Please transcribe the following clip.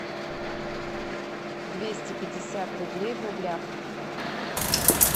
двести пятьдесят рублей в рублях